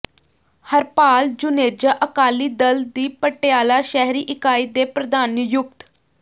ਹਰਪਾਲ ਜੁਨੇਜਾ ਅਕਾਲੀ ਦਲ ਦੀ ਪਟਿਆਲਾ ਸ਼ਹਿਰੀ ਇਕਾਈ ਦੇ ਪ੍ਰਧਾਨ ਨਿਯੁਕਤ